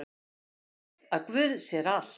Þú veist að guð sér allt!